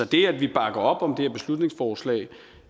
det at vi bakker op om det her beslutningsforslag